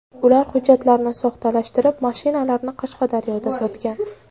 Ular hujjatlarni soxtalashtirib, mashinalarni Qashqadaryoda sotgan.